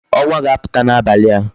Onwa ga-aputa n'abali a